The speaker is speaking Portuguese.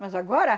Mas agora?